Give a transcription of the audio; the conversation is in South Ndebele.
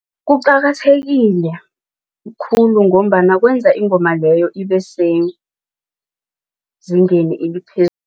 Kuqakathekile khulu ngombana kwenza ingoma leyo ibe sezingeni